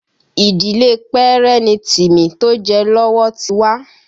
Ìdílé Pẹ́rẹ́ ni Timi tó jẹ lọ́wọ́ ti wá